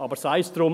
Aber sei’s drum.